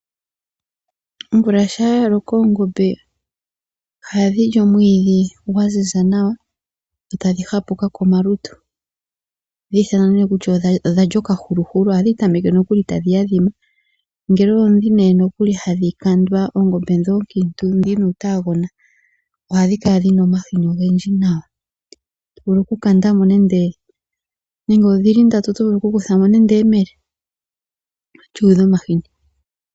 Omvula shampa ya loko, oongombe ohadhi li omwidhi, gwa ziza nawa, dho tadhi hapuka nawa komalutu, ohadhi ithanwa ne takuti odha lya oka huluhulu. Ohadhi tameke nokuli tadhi adhima, ngele odhii ne nokuli hadhi kandwa, ongombe dhoka oonkiintu, dhina uutaagona. Ohadhi kala dhina omahini ogendji na to vulu oku kandamo ngeleodhili ndatu oto vulu nando oku kuthamo eyemele lyuudha omahini.